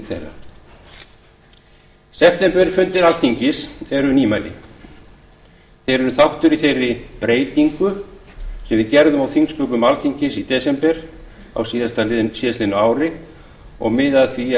þeirra septemberfundir alþingis eru nýmæli þeir eru þáttur í þeirri breytingu sem við gerðum á þingsköpum alþingis í desember á síðast liðnu ári og miða að því að